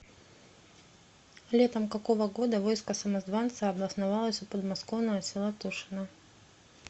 летом какого года войско самозванца обосновалось у подмосковного села тушина